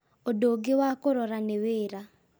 ũndũ ũngĩ wa kũrora nĩ wĩra